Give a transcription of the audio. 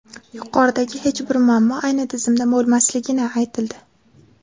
Yuqoridagi hech bir muammo ayni tizimda bo‘lmasligi aytildi.